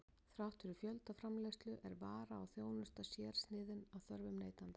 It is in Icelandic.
Þrátt fyrir fjöldaframleiðslu er vara og þjónusta sérsniðin að þörfum neytandans.